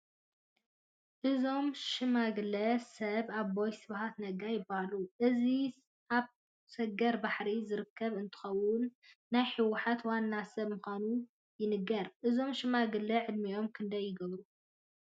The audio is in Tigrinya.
እዞም ሽማግለ ሰብ ኣቦይ ስብሓት ነጋ ይበሃሉ፡፡ ሕዚ ኣብ ሰገር ባሕሪ ዝርከቡ እንትኸውን ናይ ሕወሓት ዋና ሰብ ምዃኖም ይንገር፡፡ እዞም ሽማግለ ዕድሚኦም ክንደይ ይገብሩ?